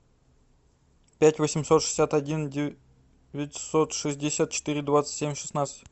пять восемьсот шестьдесят один девятьсот шестьдесят четыре двадцать семь шестнадцать